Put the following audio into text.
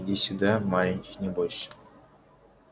иди сюда маленький не бойся